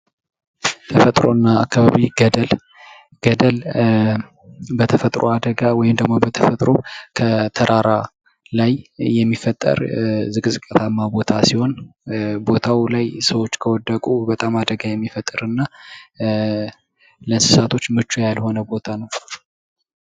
ተፈጥሮና አካባቢ ገደል ገደል በተፈጥሮ አደጋ ወይም ደግሞ በተፈጥሮ ከተራራ ላይ የሚፈጠር ዝቅዝቅ ያለ ቦታ ሲሆን ቦታው ላይ ሰዎች ከወደቁ በጣም አደጋ የሚፈጥርና ለእንሣቶች ምቹ ያልሆነ ቦታ ነው።